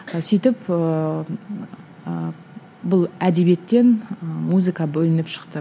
сөйтіп ііі бұл әдебиеттен і музыка бөлініп шықты